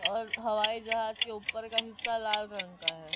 और हवाई जहाज के ऊपर का हिस्सा लाल रंग का है।